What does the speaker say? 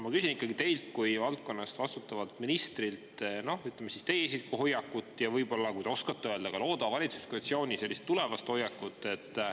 Ma küsin ikkagi teilt kui valdkonna eest vastutavalt ministrilt, noh, ütleme, teie isiklikku hoiakut ja võib-olla, kui te oskate öelda, ka loodava valitsuskoalitsiooni tulevast hoiakut.